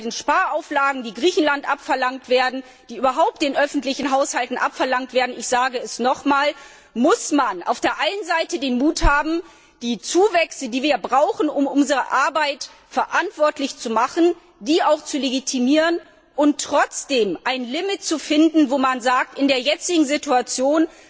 Bei den Sparauflagen, die Griechenland und überhaupt den öffentlichen Haushalten abverlangt werden, muss man auf der einen Seite den Mut haben, die Zuwächse, die wir brauchen, um unsere Arbeit verantwortlich zu machen, auch zu legitimieren und trotzdem ein Limit zu finden, wo man sagt In der jetzigen Situation